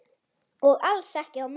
Og alls ekki á morgun.